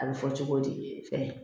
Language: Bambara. A bɛ fɔ cogo di fɛn